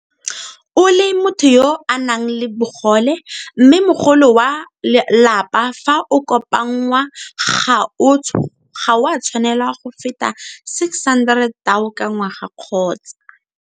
O le motho yo a nang le bogole, mme mogolo wa lapa fa o kopanngwa ga o a tshwanela go feta R600 000 ka ngwaga kgotsa.